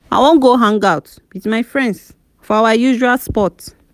i wan go hangout with my friends for our usual spot